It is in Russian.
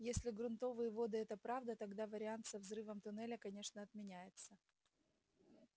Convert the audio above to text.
если грунтовые воды это правда тогда вариант со взрывом туннеля конечно отменяется